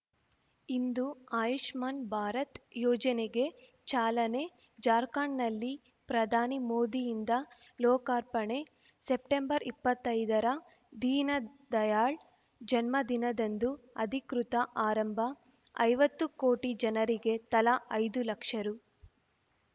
ಇಂದು ಆಯುಷ್ಮಾನ್‌ ಭಾರತ್‌ ಯೋಜನೆಗೆ ಚಾಲನೆ ಜಾರ್ಖಂಡ್‌ನಲ್ಲಿ ಪ್ರಧಾನಿ ಮೋದಿಯಿಂದ ಲೋಕಾರ್ಪಣೆ ಸೆಪ್ಟೆಂಬರ್ಇಪ್ಪತ್ತೈದರ ದೀನದಯಾಳ್‌ ಜನ್ಮದಿನದಂದು ಅಧಿಕೃತ ಆರಂಭ ಐವತ್ತು ಕೋಟಿ ಜನರಿಗೆ ತಲಾ ಐದು ಲಕ್ಷ ರು